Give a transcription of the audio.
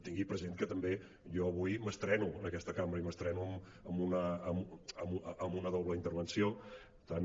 tingui present que també jo avui m’estreno en aquesta cambra i m’estreno amb una doble intervenció per tant